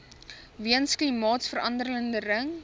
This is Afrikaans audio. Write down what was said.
weens klimaatsverande ring